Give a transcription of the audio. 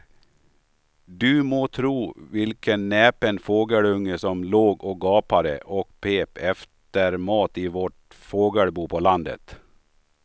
Du må tro vilken näpen fågelunge som låg och gapade och pep efter mat i vårt fågelbo på landet.